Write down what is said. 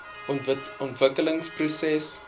ontwikkelingsprojek